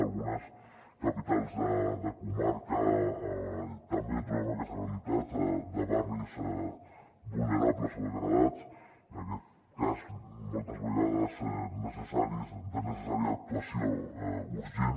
en algunes capitals de comarca també trobem aquesta realitat de barris vulnerables o degradats en aquest cas moltes vegades de necessària actuació urgent